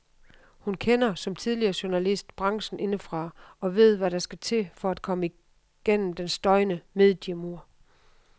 Hun kender, som tidligere journalist, branchen indefra og ved hvad der skal til for at komme gennem den støjende mediemur.